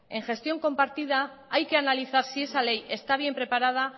que en gestión compartida hay que analizar si esa ley está bien preparada